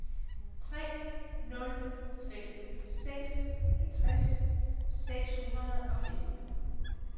tre nul fem seks halvtreds seks hundrede og femten